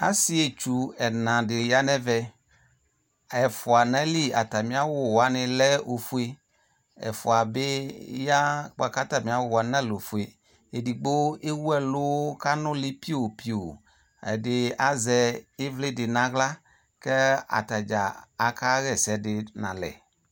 Asietdu ɛna de ya no ɛvɛ ɛfua no ayili atane awuɛ lɛ ofue Ɛfua be ya boako atame awu wane nalɛ ofue Edigbo ewu ɛlu ko anule piopio Ede azɛ evle de no ahla kɛ ata dza aka ha ɛsɛ de nalɛ